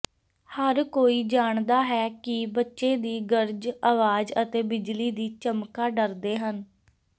ਹਰ ਕੋਈ ਜਾਣਦਾ ਹੈ ਕਿ ਬੱਚੇ ਦੀ ਗਰਜ ਆਵਾਜ਼ ਅਤੇ ਬਿਜਲੀ ਦੀ ਚਮਕਾ ਡਰਦੇ ਹਨ